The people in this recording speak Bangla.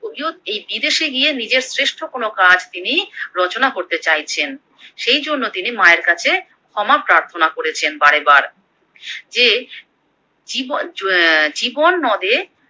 কবিও এই বিদেশে গিয়ে নীজের শ্রেষ্ঠ কোনো কাজ তিনি রচনা করতে চাইছেন, সেই জন্য তিনি মায়ের কাছে ক্ষমা প্রার্থনা করেছেন বারে বার, যে জীবন জ্যা জীবন নদে